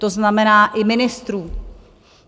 To znamená i ministrů.